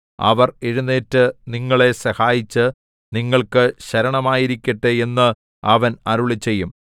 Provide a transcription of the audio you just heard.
അവർ എഴുന്നേറ്റ് നിങ്ങളെ സഹായിച്ച് നിങ്ങൾക്ക് ശരണമായിരിക്കട്ടെ എന്ന് അവൻ അരുളിച്ചെയ്യും